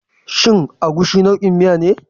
Shin Egusi nau'in miya ce?